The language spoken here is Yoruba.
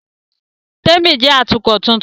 Témi jẹ́ Atukọ̀ tuntun